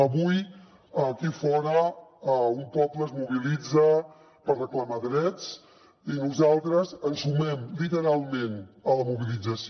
avui aquí fora un poble es mobilitza per reclamar drets i nosaltres ens sumem literalment a la mobilització